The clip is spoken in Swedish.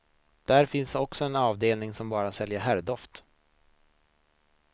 Där finns också en avdelning som bara säljer herrdoft.